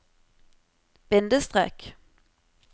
bindestrek